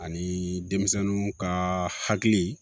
Ani denmisɛnninw ka hakili